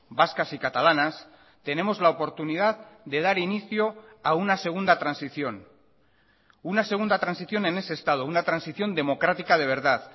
vascas y catalanas tenemos la oportunidad de dar inicio a una segunda transición una segunda transición en ese estado una transición democrática de verdad